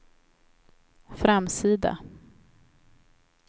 framsida